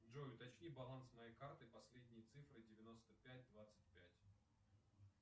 джой уточни баланс моей карты последние цифры девяносто пять двадцать пять